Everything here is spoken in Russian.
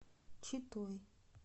читой